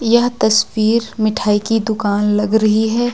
यह तस्वीर मिठाई की दुकान लग रही है।